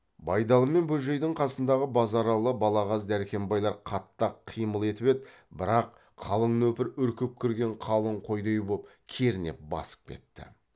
байдалы мен бөжейдің қасындағы базаралы балағаз дәркембайлар қатты ақ қимыл етіп еді бірақ қалың нөпір үркіп кірген қалың қойдай боп кернеп басып кетті